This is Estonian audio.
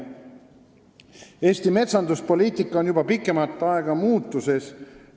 Eesti metsanduspoliitika on juba pikemat aega olnud muutumises.